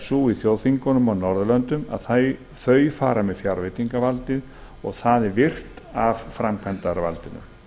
sú í þjóðþingunum að þau fara með fjárveitingavaldið og það er virt af framkvæmdarvaldinu